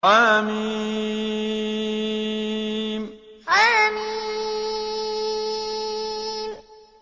حم حم